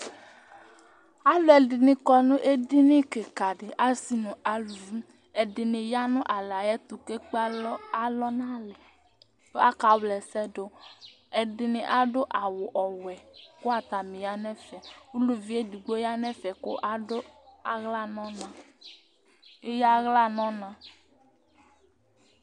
Alʋɛdìní kɔ nʋ ɛdiní kìka di, asi nʋ ʋlʋvi Ɛdiní ya nʋ alɛ tu kʋ ekpe alɔ nʋ alɛ kʋ aka wla ɛsɛdu Ɛdiní adu awu ɔwɛ kʋ atani ya nu ɛfɛ Ʋlʋvi ɛdigbo ya nʋ ɛfɛ kʋ eya aɣla nʋ ɔna